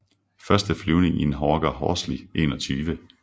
Første flyvning i en Hawker Horsley 21